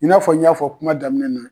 I n'a fɔ n y'a fɔ kuma daminɛ na.